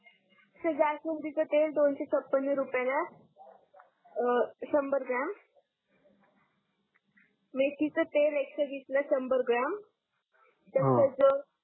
sir जास्वंदीच तेल दोनसे छपण रुपयाला आहे अं संभर ग्रॉम मेथीच तेल एकशे विसला संभर ग्रॉम त्याच्या नंतर जो हम्म